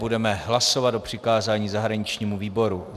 Budeme hlasovat o přikázání zahraničnímu výboru.